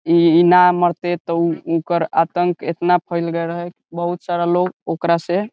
इ इ ना मरते ते ओकर आतंक एतना फेल गेल रहे बहुत सारा लोग ओकरा से --